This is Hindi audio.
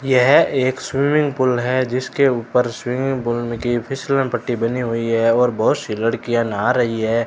यह एक स्विमिंग पूल है जिसके ऊपर स्विमिंग पूल की फिसलन पट्टी बनी हुई है और बहोत सी लड़कियां नहा रही है।